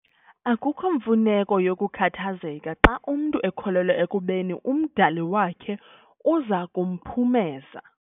Akukho mfuneko yokukhathazeka xa umntu ekholelwa ekubeni uMdali wakhe uza kumphumeza.